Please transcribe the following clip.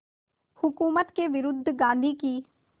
हुकूमत के विरुद्ध गांधी की